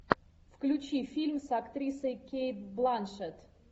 включи фильм с актрисой кейт бланшетт